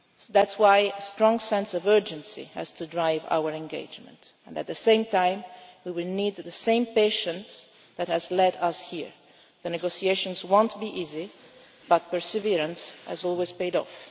That is why a strong sense of urgency has to drive our engagement, and at the same time we will need the same patience that has led us here. The negotiations will not be easy, but perseverance has always paid